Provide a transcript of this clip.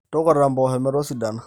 tukuta impoosho metosidanita